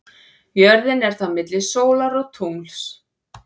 Jörðin er þá milli sólar og tungls.